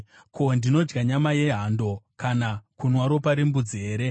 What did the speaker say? Ko, ndinodya nyama yehando kana kunwa ropa rembudzi here?